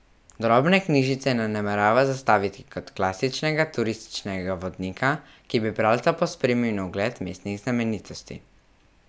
Drobne knjižice ne namerava zastaviti kot klasičnega turističnega vodnika, ki bi bralca pospremil na ogled mestnih znamenitosti.